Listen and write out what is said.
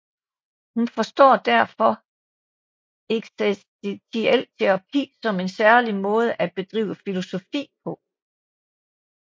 Hun forstår derfor også eksistentiel terapi som en særlig måde at bedrive filosofi på